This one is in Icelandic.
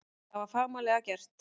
Það var fagmannlega gert